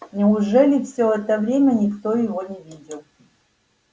неужели все это время никто его не видел